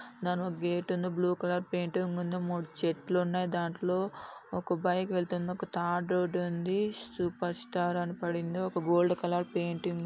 తను గేటును blue colour paint కు ముందు ముడు చెట్లు ఉన్నాయి. దాంట్లో ఒక బైక్ వెళ్తుంది. ఒక తార్ రోడ్ ఉంది. సూపర్ స్టార్ అని పడింది. ఒక గోల్డ్ కలర్ పెయింటింగ్----